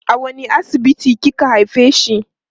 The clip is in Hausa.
a wani asibiti kika haifeshi